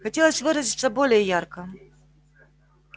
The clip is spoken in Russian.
хотелось выразиться более ярко